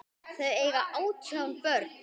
Þau eiga átján börn.